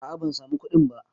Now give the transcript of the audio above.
A'a ban samu kuɗin ba